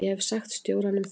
Ég hef sagt stjóranum það.